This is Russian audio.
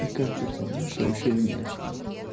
и как персонаж вообще внешне